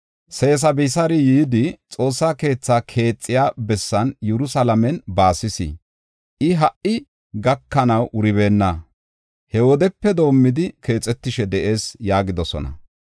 Sesabisaari yidi, ‘Xoossa keethaa keexiya bessan Yerusalaamen baasis. I ha77i gakanaw wuribeenna; he wodepe doomidi, keexetishe de7ees’ ” yaagidosona.